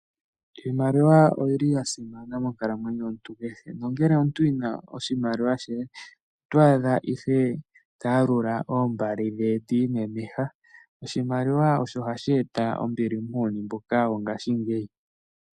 Iimaliwa oyili ya simana monkalamwenyo yomuntu, nongele omuntu ena oshimaliwa oto adha ihe ta yalula iimaliwa ye ti imemeha .Oshimaliwa osho hashi eta ombili muuyuni wongashingeyi